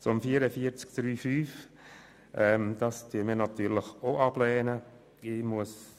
Auch die Massnahme 44.3.5 lehnen wir ab.